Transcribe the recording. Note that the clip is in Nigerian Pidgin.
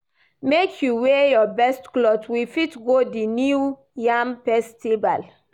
Make you wear your best clothe, we fit go di New Yam festival.